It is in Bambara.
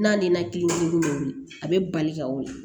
N'a ni ŋa kili dɔ be wuli a be bali ka wuli